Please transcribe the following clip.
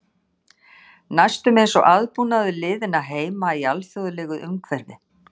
Næstum eins og aðbúnaður liðanna heima í alþjóðlegu umhverfi.